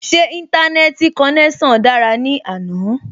Ṣé Íńtánẹ́ẹ̀tì konẹ́sàn dára ní àná?